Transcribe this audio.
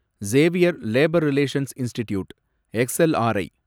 Xavier Labour Relations Institute , X LRI